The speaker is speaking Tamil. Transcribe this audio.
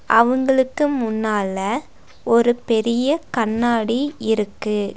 அவங்களுக்கு முன்னால ஒரு பெரிய கண்ணாடி இருக்கு.